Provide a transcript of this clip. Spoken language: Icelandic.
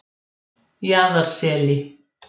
Jaðarseli